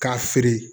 K'a feere